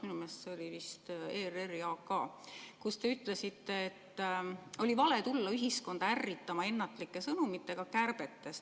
Minu meelest oli see ERR‑i AK, kus te ütlesite, et oli vale tulla ühiskonda ärritama ennatlike sõnumitega kärbetest.